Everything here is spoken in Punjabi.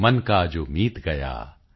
ਮਨ ਕਾ ਜੋ ਮੀਤ ਗਯਾ